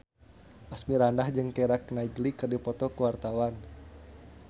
Asmirandah jeung Keira Knightley keur dipoto ku wartawan